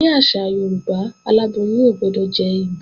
Ní àṣà Yorùbá, aláboyún ò gbọdọ̀ jẹ́ ìgbín